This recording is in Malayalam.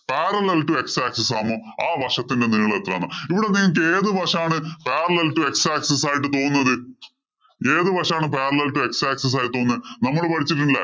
Parallel to x axis ആണ് ആ വശത്തിന്‍റെ നീളം എത്രാന്ന്‍. ഇവിടെ നിങ്ങക്ക് ഏതു വശം ആണ് parallel to x axis ആയിട്ട് തോന്നുന്നത്. ഏതു വശം ആണ് parallel to x axis ആയിട്ട് തോന്നുന്നത്. നമ്മള് പഠിച്ചിട്ടില്ലേ?